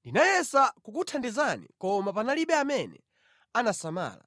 Ndinayesa kukuthandizani koma panalibe amene anasamala.